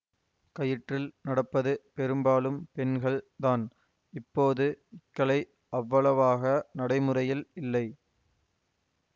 கயிற்றில் நடப்பது பெரும்பாலும் பெண்கள் தான் இப்போது இக்கலை அவ்வளவாக நடைமுறையில் இல்லை